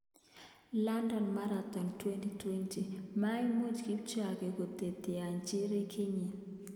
London Marathon 2020: Maimuch Kipchoge koteteanchi rekidinyi